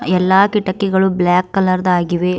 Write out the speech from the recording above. ಎಲ್ಲಾ ಕಿಟಕಿಗಳು black colour ದ್ ಆಗಿವೆ.